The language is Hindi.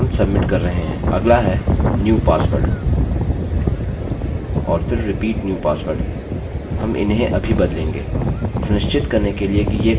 अगला है new password और फिर repeat new password हम इन्हें अभी बदलेंगे